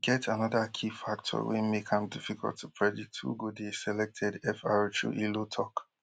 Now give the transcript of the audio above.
but e get anoda key factor wey make am difficult to predict who go dey selected fr chu ilo tok